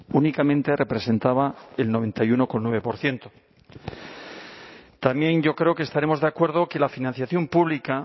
únicamente representaba el noventa y uno coma nueve por ciento también yo creo que estaremos de acuerdo que la financiación pública